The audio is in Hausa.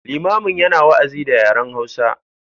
Limamin yana wa’azi da yaren hausa.